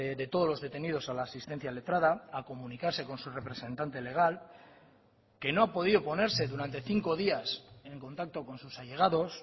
de todos los detenidos a la asistencia letrada a comunicarse con su representante legal que no ha podido ponerse durante cinco días en contacto con sus allegados